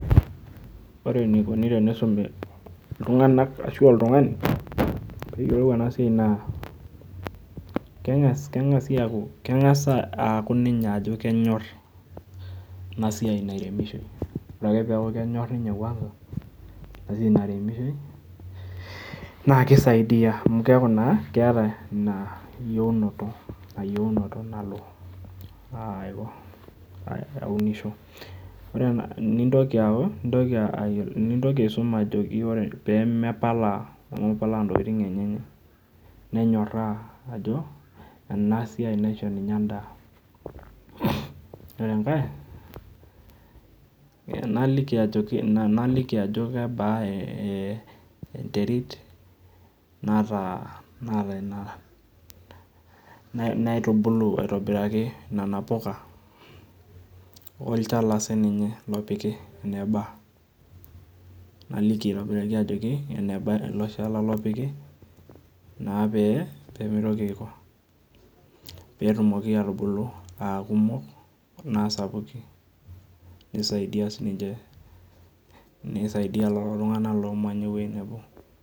Ore enikoni tenisumi iltung'anak ashu oltung'ani, peyiolou enasiai naa, keng'asi aku keng'as aku ninye ajo kenyor enasiai nairemishoi. Ore ake peeku kenyor ninye kwanza, inasiai naremishoi, naa kisaidia amu keeku naa keeta ina yieunoto, ina yieunoto nalo aunisho. Ore nintoki aku, nintoki aisum ajoki ore pemepala pemapalaa ntokiting enyenyek, nenyorraa ajo, enasiai naisho ninye endaa. Ore enkae, naliki ajoki, naliki ajo kebaa enterit naata ina nautubulu aitobiraki nena puka, olchala sininye opiki eneba. Naliki aitobiraki ajoki, eneba ilo shala lopiki, na pee, pemitoki aiko, petumoki atubulu akumok naa sapukin, nisaidia sininche, nisaidia lolo tung'anak lomanya ewoi nebo.